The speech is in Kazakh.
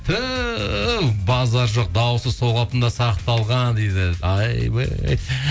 туһ базар жоқ дауысы сол қалпында сақталған дейді айбей